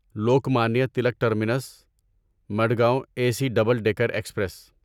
Lokmanya Tilak terminus Madgaon A C double decker express